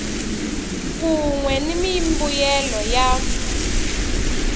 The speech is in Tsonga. kun we ni mimbuyelo ya